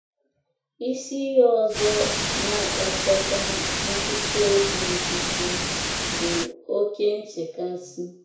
Isi ihe ọzọ um na - akpatakwa nkụchi obi nkịtị um bụ oké um nchekasị.